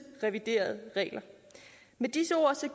reviderede regler med disse ord